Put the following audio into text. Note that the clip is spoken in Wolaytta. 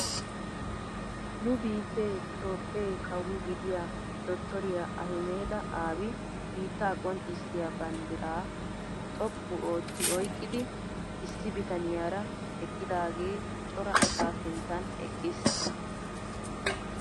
Nu biittee itoophphee kawo gidiyaa dotoriyaa ahimeda aabi biittaa qonccisiyaa banddiraa xoqqu ootti oyqqidi issi bitaniyaara eqqidaage cora asaa sinttan eqqiis.